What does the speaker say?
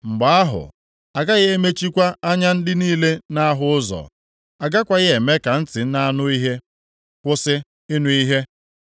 Mgbe ahụ, agaghị emechikwa anya ndị niile na-ahụ ụzọ, agakwaghị eme ka ntị na-anụ ihe kwụsị ịnụ ihe.